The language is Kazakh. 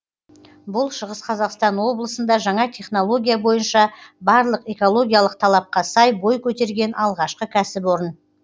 бұл шығыс қазақсатн облысында жаңа технология бойынша барлық экологиялық талапқа сай бой көтерген алғашқы кәсіпорын